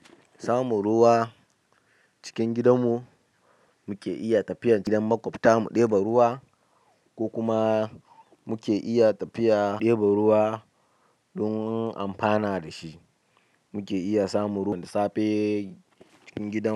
Samun ruwa cikin gidanmu, muke iya tafiya gidan maƙwabta mu ɗeba ruwa ko kuma muke iya tafiya ɗeba ruwa don amfana da shi. Muke iya samun ruwa da safe cikin gida.